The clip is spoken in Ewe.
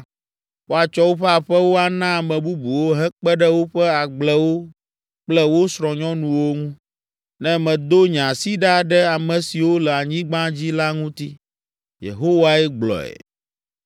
Woatsɔ woƒe aƒewo ana ame bubuwo hekpe ɖe woƒe agblewo kple wo srɔ̃nyɔnuwo ŋu, ne medo nye asi ɖa ɖe ame siwo le anyigba dzi la ŋuti.” Yehowae gblɔe.